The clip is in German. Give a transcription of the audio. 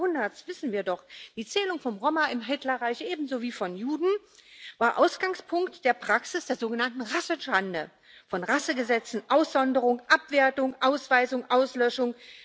20. Jahrhunderts wissen wir doch Die Zählung von Roma im Hitlerreich ebenso wie von Juden war Ausgangspunkt der Praxis der sogenannten Rassenschande, von Rassegesetzen, Aussonderung, Abwertung, Ausweisung, Auslöschung.